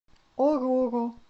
оруро